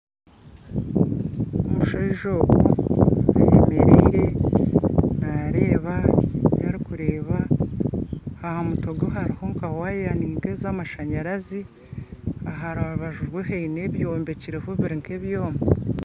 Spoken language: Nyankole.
Omushaija ogu ayemereire nareeba ebirikureeba aha mutwe gwe hariho nka waaya ninka eza amashaanyarazi aha rubaju rwe haine ebyombekireho biri nka ebyooma